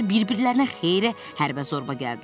Onlar bir-birlərinə xeyli hərbə-zorba gəldilər.